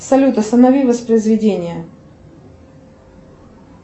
салют останови воспроизведение